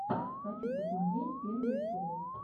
хочу посмотреть первые шоу